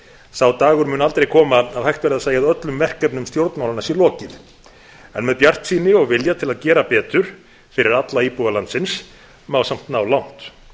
sá dagur mun aldrei koma að hægt verði að segja að öllum verkefnum stjórnmálanna sé lokið en með bjartsýni og vilja til að gera betur fyrir alla íbúa landsins má samt á langt